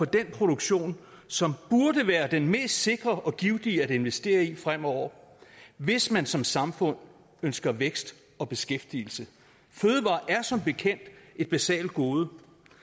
den produktion som burde være den mest sikre og givtige at investere i fremover hvis man som samfund ønsker vækst og beskæftigelse fødevarer er som bekendt et basalt gode